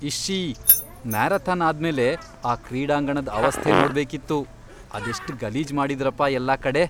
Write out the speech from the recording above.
ಇಶ್ಶೀ! Marathon ಆದ್ಮೇಲೆ ಆ ಕ್ರೀಡಾಂಗಣದ್ ಅವಸ್ಥೆ ನೋಡ್ಬೇಕಿತ್ತು, ಅದೆಷ್ಟ್ ಗಲೀಜ್ ಮಾಡಿದ್ರಪ ಎಲ್ಲಾ ಕಡೆ.